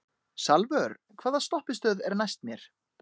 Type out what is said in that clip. Salvör, hvaða stoppistöð er næst mér?